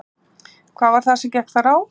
Hvað var það sem gekk þar á?